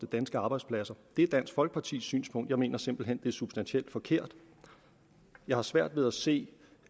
danske arbejdspladser det er dansk folkepartis synspunkt men jeg mener simpelt hen det er substantielt forkert jeg har svært ved at se